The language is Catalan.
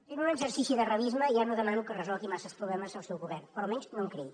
fent un exercici de realisme ja no demano que resolgui massa problemes el seu govern però almenys no en creï